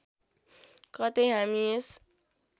कतै हामी यस